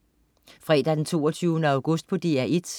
Fredag den 22. august - DR 1: